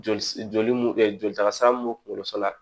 Joli joli mun joli taasira mun b'u kungolo sɔrɔ la